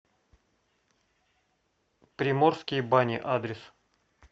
приморские бани адрес